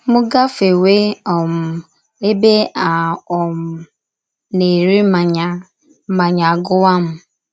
M gafewe um ebe a um na - ere mmanya, mmanya agụwa m.